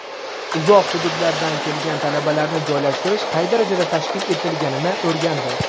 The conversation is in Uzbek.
uzoq hududlardan kelgan talabalarni joylashtirish qay darajada tashkil etilganini o‘rgandi.